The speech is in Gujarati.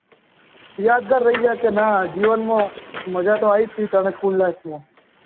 યાદગાર રહી જાય કે નાં જીવનમાં મજા તો આયી થી અને ફૂલ life માં